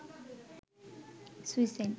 suicide